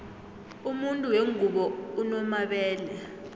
umuntu wengubo unomabele